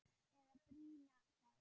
Eða brýna þá!